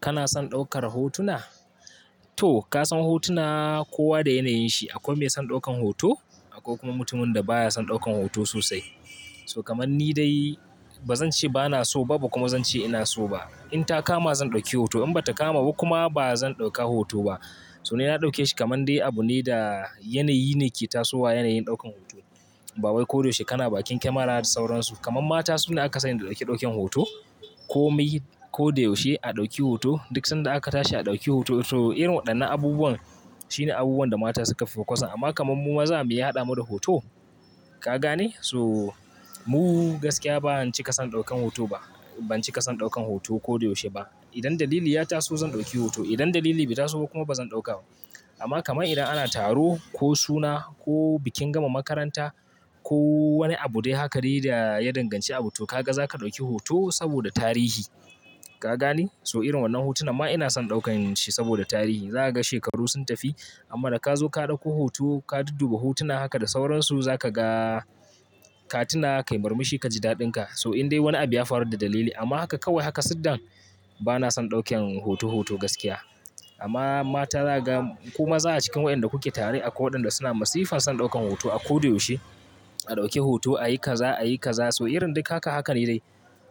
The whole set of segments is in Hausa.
Kana son ɗaukar hotuna? To ka san hotuna kowa da yanayin shi. Akwai mai son ɗaukan hoto, akwai kuma mutumin da baya son ɗaukan hoto sosai. So kamar ni dai ba zan ce bana so ba, ba kuma zan ce ina so ba. In ta kama zan ɗauki hoto, in ba ta kama ba kuma ba zan ɗauka hoto ba. So ina na ɗauke shi kaman dai abu ne da yanayi ne ke tasowa yanayin ɗaukan hoto. Babai ko da yaushe kana bakin kamara da sauransu. Kaman matansu ne aka sani da ɗauke ɗaukin hoto. Ko mai ko da yaushe a ɗauki hoto. Duk sanda aka tashi a ɗauki hoto. So irin waɗannan abubuwan shine abubuwan da mata suka fi so. Amma kamar mu maza me ya haɗa mu da hoto? Ka gane? So mu gaskiya bana cika son ɗaukan hoto ba. Ban cika son ɗaukan hoto ko da yaushe ba. Idan dalili ya taso zan ɗauki hoto. Idan dalili bai taso kuma ba zan ɗauka ba. Amma kamar idan ana taro ko suna ko bikin gama makaranta ko wani abu dai haka dai da ya danganci abu to ka ga za ka ɗauki hoto saboda tarihi. Ka gane? So irin wannan hotuna ma ina son ɗaukan shi saboda tarihi. Za ka ga shekaru sun tafi amma da ka zo ka ɗauko hoto ka dudduba hotuna haka da sauransu za ka ga katuna kai murmushi ka ji daɗin ka. So in dai wani abu ya faru da dalili amma haka kawai haka siddan bana son ɗaukan hoto hoto gaskiya. Amma mata za ka ga kuma za a cikin waɗanda kuke tare akwai waɗanda suna masifan son ɗaukan hoto a ko da yaushe. A ɗauki hoto, a yi kaza, a yi kaza. So irin duk haka hakan ne dai.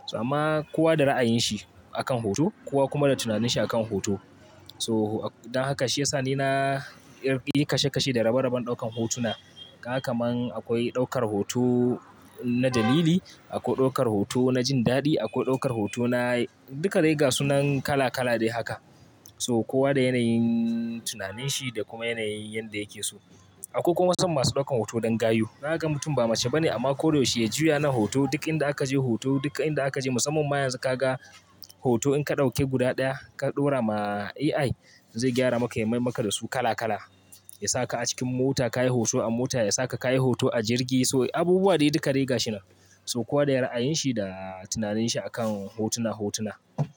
So amma kowa da ra'ayin shi akan hoto, kowa kuma da tunaninsa akan hoto. So dan haka shi ya sa ni na yi kashe kashe da rabe raben ɗaukan hotuna. Ka ga kaman akwai ɗaukar hoto na dalili, akwai ɗaukar hoto na jin daɗi, akwai ɗaukar hoto na duka dai ga sunan kala kala dai haka. So kowa da yanayin tunaninsa da kuma yanayin yadda yake so. Akwai kuma son masu ɗaukan hoto don gayu. Na ga mutum ba mace ba ne amma ko da yaushe ya juya na hoto. Duk inda aka je hoto, duk inda aka je musamman ma yanzu ka ga hoto in ka ɗauke guda ɗaya ka ɗora ma AI zai gyara maka ya maimaka da su kala kala. Ya saka a cikin mota ka yi hoto a mota, ya saka ka yi hoto a jirgi. So abubuwa dai duka ga shi nan. So kowa da ra'ayin shi da tunaninsa akan hotuna hotuna.